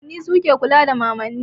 Babanni su ke kula da mamanni.